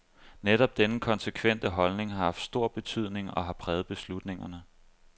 Netop denne konsekvente holdning har haft stor betydning og har præget beslutningerne.